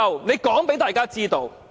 請他告訴大家知道。